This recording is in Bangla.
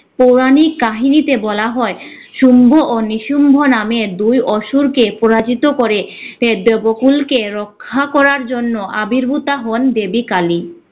পৌরাণিক কাহিনীতে বলা হয় শম্ভু ও নিশুম্ভূ নামের দুই অসুরকে পরাজিত করে এ দেবকুলকে রক্ষা করার জন্য আবির্ভুতা হন দেবী কালী।